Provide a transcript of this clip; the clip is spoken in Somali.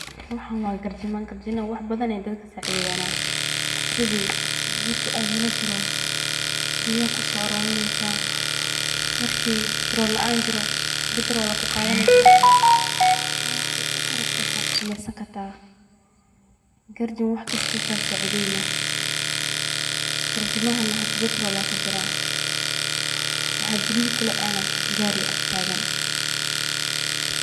Waxaan waa garjima, wax badan ayeey dadka kacawiyaan, marki biya laan jirto waa kusoo qadan kartaa, wax badan ayuu kaa sacideyna, kuwa hada batrool ayaa kujiraa, gaari ayaa garab taagan.